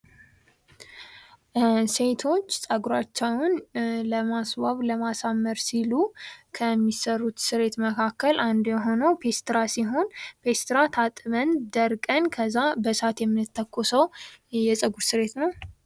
ሴቶች ፀጉራቸውን ለማስዋብ ለማሳመር ሲሉ ከሚሰሩት ስሬት መካከል አንዱ የሆነው ፔስትራ ሲሆን ፔትራም ታጥበን ደርቀን ከዛ በሳት የምንተኮሶ የፀጉር ስሬት ነው።